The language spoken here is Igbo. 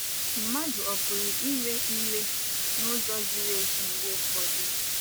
Mmadụ ọ pụrụ iwe iwe n’ụzọ ziri ezi mgbe ụfọdụ?